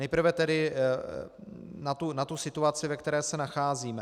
Nejprve tedy k té situaci, ve které se nacházíme.